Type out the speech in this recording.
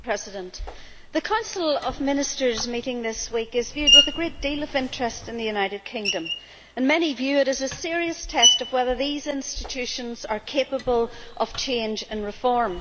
Madam President, the Council of Ministers meeting this week is viewed with a great deal of interest in the United Kingdom, and many view it as a serious test of whether these institutions are capable of change and reform.